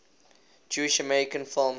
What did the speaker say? jewish american film